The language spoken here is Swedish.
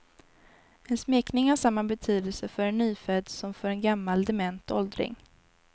En smekning har samma betydelse för en nyfödd som för en gammal, dement åldring.